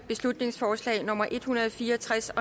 beslutningsforslag nummer b en hundrede og fire og tres